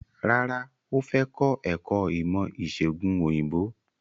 Rárá, ó fẹ́ kọ́ ẹ̀kọ́ ìmọ̀ ìsègùn òyìnbó.